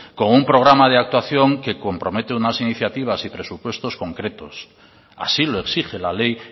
con un programa de actuación que compromete unas iniciativas y presupuestos concretos así lo exige la ley